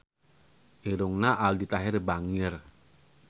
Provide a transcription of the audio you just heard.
Irungna Aldi Taher bangir